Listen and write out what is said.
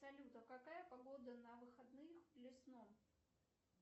салют а какая погода на выходных в лесном